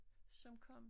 Som kom